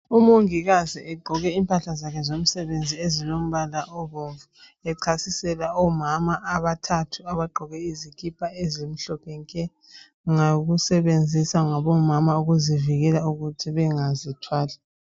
Umongikazi egqoke impahla zakhe zomsebenzii , ezilombala obomvu. Echasisela omama abathathu, abagqoke izikipa ezimhlophe nke! Ngokusebenziswa ngomama ukuzivikela ukuthi bangazithwali.